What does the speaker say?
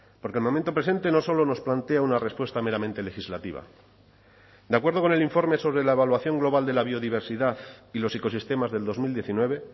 porque el momento presente no solo nos plantea una respuesta meramente legislativa de acuerdo con el informe sobre la evaluación global de la biodiversidad y los ecosistemas del dos mil diecinueve